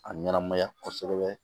A ɲɛnamaya kosɛbɛ